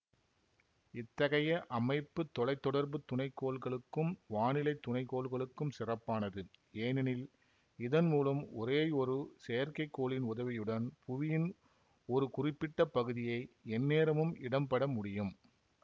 இத்தகைய அமைப்பு தொலை தொடர்பு துணைக்கோள்களுக்கும் வானிலை துணைக்கோள்களுக்கும் சிறப்பானது ஏனெனில் இதன் மூலம் ஒரேயொரு செயற்கைக்கோளின் உதவியுடன் புவியின் ஒரு குறிப்பிட்ட பகுதியை எந்நேரமும் இடம்பட முடியும்